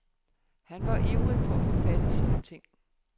Han var ivrig for at få fat i sine ting.